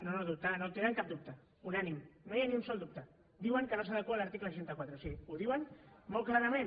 no no tenen cap dubte unànime no hi ha ni un sol dubte diuen que no s’adequa a l’article seixanta quatre o sigui ho diuen molt clarament